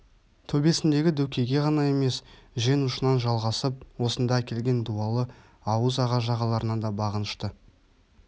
төбесіндегі дөкейге ғана емес жең ұшынан жалғасып осында әкелген дуалы ауыз аға-жағаларына да бағынышты